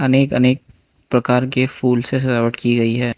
नेक अनेक प्रकार के फूल से सजावट की गई है।